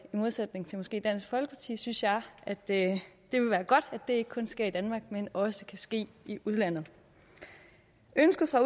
modsætning til måske dansk folkeparti synes jeg at det ville være godt at det ikke kun sker i danmark men også kan ske i udlandet ønsket fra